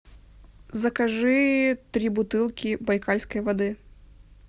закажи три бутылки байкальской воды